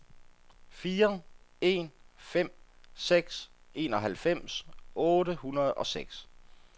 fire en fem seks enoghalvfems otte hundrede og seks